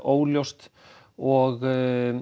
óljóst og